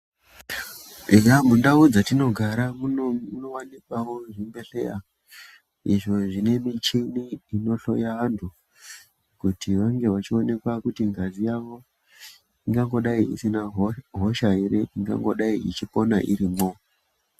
Eya mundau dzetinogara munowanikwawo zvibhehleya izvo zvine michini inohloya vantu kuti vange vachionekwa kuti ngazi yavo ingangodai isina hosha ere ingangodai ichipona irimwo.